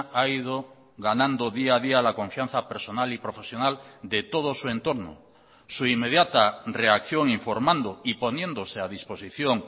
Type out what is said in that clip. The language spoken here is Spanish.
ha ido ganando día a día la confianza personal y profesional de todo su entorno su inmediata reacción informando y poniéndose a disposición